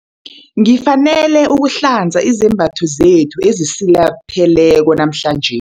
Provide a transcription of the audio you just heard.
Ngifanele ukuhlanza izembatho zethu ezisilapheleko namhlanje.